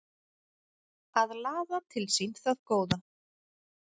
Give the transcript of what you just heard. Að laða til sín það góða